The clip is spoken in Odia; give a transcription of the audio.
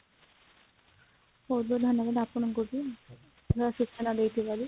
ବହୁତ ବହୁତ ଧନ୍ୟବାଦ ଆପଣଙ୍କୁ ବି ସୂଚନା ଦେବାରୁ